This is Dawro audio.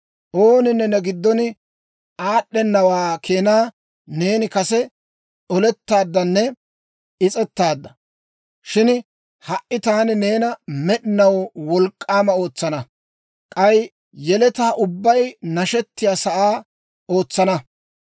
«Ooninne ne giddona aad'd'enawaa keenaa neeni kase olettaaddanne is's'ettaadda. Shin ha"i taani neena med'inaw wolk'k'aama ootsana; k'ay yeletaa ubbay nashettiyaa sa'aa ootsana.